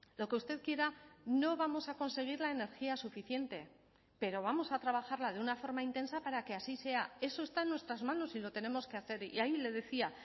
lo que usted quiera no vamos a conseguir la energía suficiente pero vamos a trabajarla de una forma intensa para que así sea eso está en nuestras manos y lo tenemos que hacer y ahí le decía